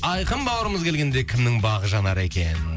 айқын бауырымыз келгенде кімнің бағы жанар екен